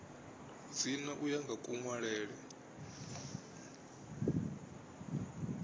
dzina u ya nga kunwalele